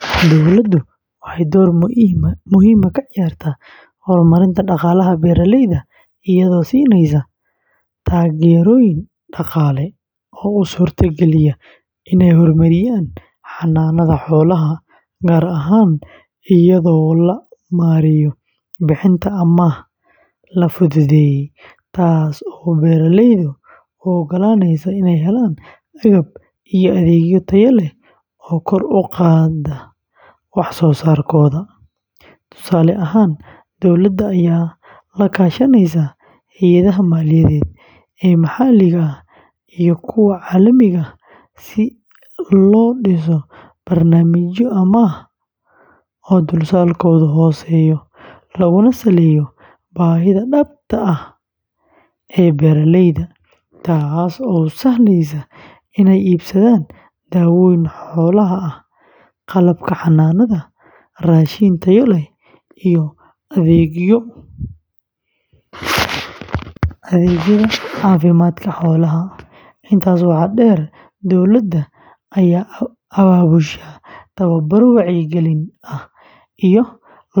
Dowladdu waxay door muhiim ah ka ciyaartaa horumarinta dhaqaalaha beeraleyda iyadoo siinaysa taageerooyin dhaqaale oo u suurtageliya inay horumariyaan xanaanada xoolaha, gaar ahaan iyadoo loo marayo bixinta amaah la fududeeyey, taas oo beeraleyda u ogolaanaysa inay helaan agab iyo adeegyo tayo leh oo kor u qaada wax soo saarkooda. Tusaale ahaan, dowladda ayaa la kaashanaysa hay’adaha maaliyadeed ee maxalliga ah iyo kuwa caalamiga ah si loo dhiso barnaamijyo amaah oo dulsaarkoodu hooseeyo, laguna saleeyo baahida dhabta ah ee beeraleyda, taasoo u sahlaysa inay iibsadaan daawooyin xoolaha ah, qalabka xanaanada, raashin tayo leh, iyo adeegyada caafimaadka xoolaha. Intaas waxaa dheer, dowladda ayaa abaabusha tababaro wacyigelin ah iyo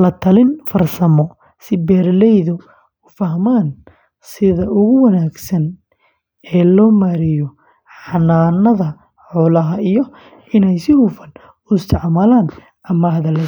la-talin farsamo si beeraleydu u fahmaan sida ugu wanaagsan ee loo maareeyo xanaanada xoolaha iyo inay si hufan u isticmaalaan amaahda la siiyay.